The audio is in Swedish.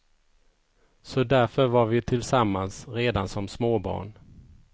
Så därför var vi tillsammans redan som småbarn.